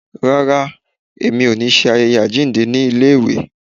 Rárá, mi ò ní ṣe ayẹyẹ àjíǹde ní iléèwé.